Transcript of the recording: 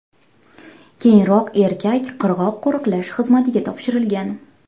Keyinroq erkak qirg‘oq qo‘riqlash xizmatiga topshirilgan.